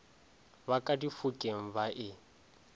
ba ka difokeng ba e